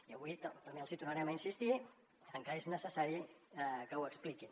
i avui també els hi tornarem a insistir en que és necessari que ho expliquin